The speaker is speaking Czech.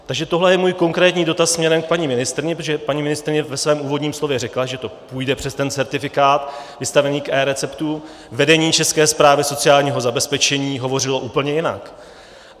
Takže tohle je můj konkrétní dotaz směrem k paní ministryni, protože paní ministryně ve svém úvodním slovu řekla, že to půjde přes ten certifikát vystavení k eReceptu, vedení České správy sociálního zabezpečení hovořilo úplně jinak.